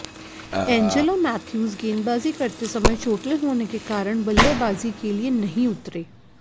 Angelo Mathews गेंदबाजी करते समय चोटिल होने के कारण बल्लेबाजी के लिये नहीं उतरे